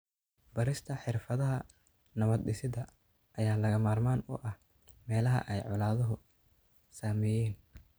Barista xirfadaha nabad-dhisidda ayaa lagama maarmaan u ah meelaha ay colaaduhu saameeyeen.